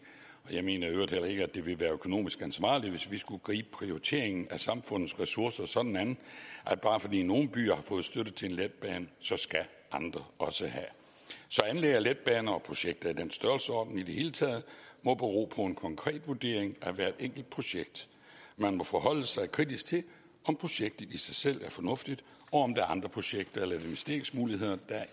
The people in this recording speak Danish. og jeg mener i øvrigt heller ikke at det vil være økonomisk ansvarligt hvis vi skulle gribe prioriteringen af samfundets ressourcer sådan an at bare fordi nogle byer har fået støtte til en letbane så skal andre også have så anlæg af letbaner og projekter i den størrelsesorden i det hele taget må bero på en konkret vurdering af hvert enkelt projekt man må forholde sig kritisk til om projektet i sig selv er fornuftigt og om der er andre projekter eller investeringsmuligheder der er